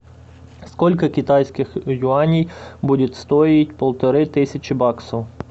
сколько китайских юаней будет стоить полторы тысячи баксов